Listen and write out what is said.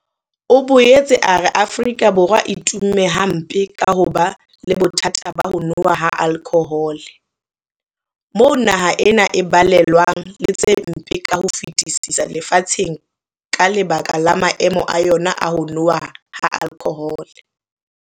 O boetse a re Afrika Borwa e tumme hampe ka ho ba le bothata ba ho nowa ha alkhohole, moo naha ena e balellwang le tse mpe ka ho fetisisa lefatsheng ka lebaka la maemo a yona a ho nowa ha alkhohole.